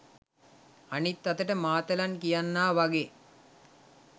අනිත් අතට මාතලන් කියන්නා වගේ